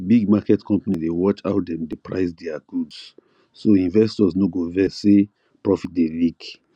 big market company dey watch how dem dey price their goods so investors no go vex say profit dey leak